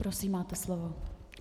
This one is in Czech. Prosím, máte slovo.